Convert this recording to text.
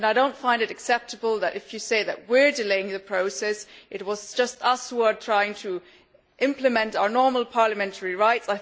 I do not find it acceptable if you are saying that we are delaying the process it was just us who are trying to implement our normal parliamentary rights.